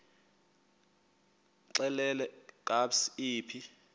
xelel kabs iphi